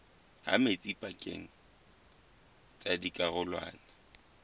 ha metsi pakeng tsa dikarolwana